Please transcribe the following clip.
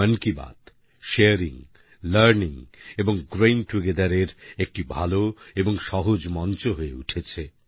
মন Ki Baat sharing learning এবং growing together এর একটি ভালো এবং সহজ মঞ্চ হয়ে উঠেছে